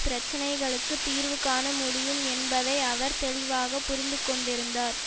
பிரச்சினைகளுக்கு தீர்வு காண முடியும் என்பதை அவர் தெளிவாக புரிந்துகொண்டிருந்தார்